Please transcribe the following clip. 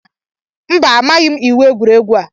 mba, amaghịm iwu egwuregwu a